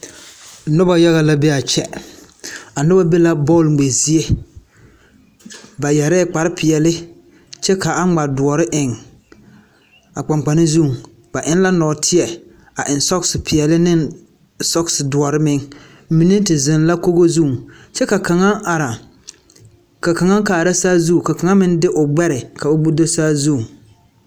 Noba yaga la be a kyԑ. A noba be la bԑͻl ŋmԑ zie. Ba yԑrԑԑ kpare peԑle kyԑ ka a ŋma dõͻre eŋ a kpaŋkpane zu. Ba eŋ la nͻͻteԑ a eŋ sͻͻse peԑle ne sͻͻse dõͻre meŋ. Mine te zeŋ la kogo zu kyԑ ka kaŋ are ka kaŋa kaara saazu, ka kaŋa meŋ de o gbԑre ka o do saazu.